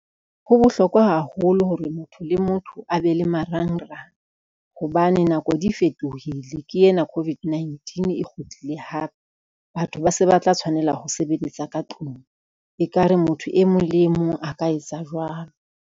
Ho bohlokwa haholo hore motho le motho a be le marangrang, hobane nako di fetohile ke ena COVID-19 e kgutlile hape, batho ba se ba tla tshwanela ho sebeletsa ka tlung, ekare motho e mong le e mong a ka etsa jwalo.